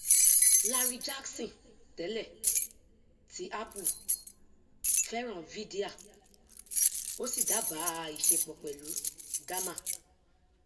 larry jackson tẹlẹ ti apple fẹràn vydia ó sì dábàa ìṣepọ pẹlú gamma